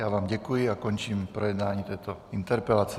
Já vám děkuji a končím projednávání této interpelace.